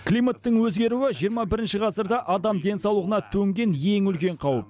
климаттың өзгеруі жиырма бірінші ғасырда адам денсаулығына төнген ең үлкен қауіп